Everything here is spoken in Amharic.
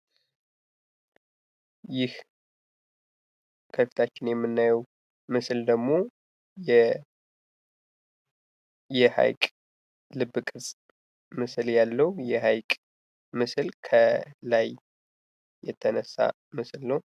ይህ ከፊታችን የምናየው ምስል ደግሞ የሀይቅ ልብ ቅርስ ምስል ያለው ፤ የሃይቅ ምስል ላይ የተነሣ ምስል ነው።